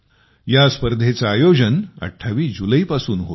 या स्पर्धेचे आयोजन 28 जुलैपासून होत आहे